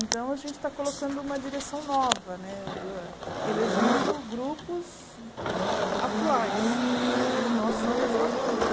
Então a gente está colocando uma direção nova né, elegendo grupos atuais e nós somos o apoio.